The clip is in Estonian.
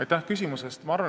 Aitäh küsimuse eest!